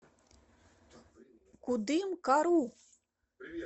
кудымкару